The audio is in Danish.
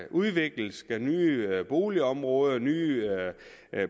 udvikles med nye boligområder og nye